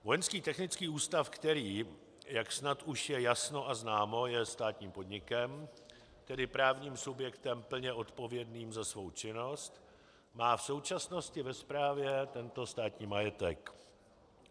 Vojenský technický ústav, který, jak snad už je jasno a známo, je státním podnikem, tedy právním subjektem plně odpovědným za svou činnost, má v současnosti ve správě tento státní majetek.